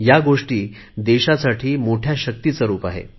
ह्या गोष्टी देशासाठी मोठ्या शक्तीचे रुप आहे